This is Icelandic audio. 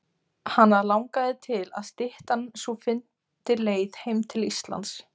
Hana langaði til að styttan sú fyndi leið heim til Íslands.